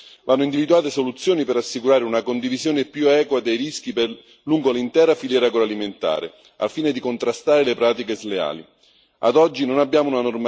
Tuttavia ciò non è sufficiente vanno individuate soluzioni per assicurare una condivisione più equa dei rischi lungo l'intera filiera agroalimentare, al fine di contrastare le pratiche sleali.